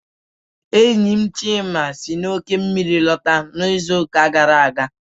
Enyi m Chima si n'oké osimiri lọta n'izuụka gara aga.